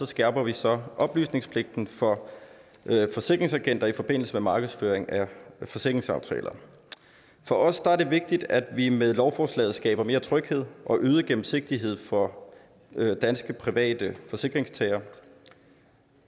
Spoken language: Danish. skærper vi så oplysningspligten for forsikringsagenter i forbindelse med markedsføring af forsikringsaftaler for os er det vigtigt at vi med lovforslaget skaber mere tryghed og øget gennemsigtighed for danske private forsikringstagere